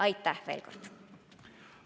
Aitäh veel kord!